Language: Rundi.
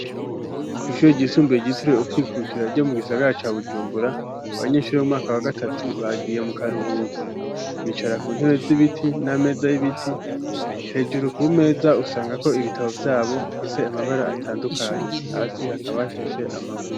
Kw'ishure ryisumbiye ryitiriwe ukwikukira ryo mu gisagara ca Bujumbura abanyeshuri b'umwaka wa gatatu bagiye mu karuhuko bicara ku ntebe z'ibiti nama meza y'ibiti; hejuru ku meza usangako ibitabo vyabo bifise amabara atandukanye hasi hakaba hashashe amabuye.